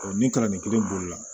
ni kalanden kelen boli la